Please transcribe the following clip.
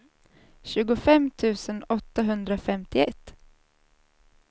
tjugofem tusen åttahundrafemtioett